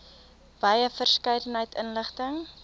wye verskeidenheid inligting